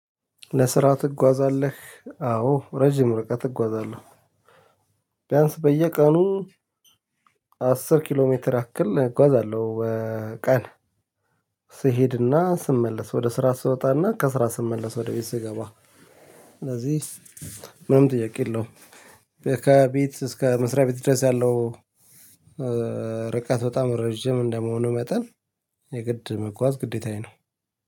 ለስራ ትጓዛለህ አዎ ረጅም ርቀት እጓዛለሁ። ቢያንስ በየቀኑ አስር ኪሎ ሜትር አክል እጓዛለሁ። ቀን ስሄድና ስመለስ ወደ ስራ ስወጣና ከስራ ስመለስ ወደ ቤት ስገባ። ስለዚህ ምንም ጥያቄ የለውም። ከቤት እስከ መስሪያ ቤት ድረስ ያለው ርቀት በጣም ረጅም እንደመሆኑ መጠን። የግድ መጓዝ ግዴታዬ ነው።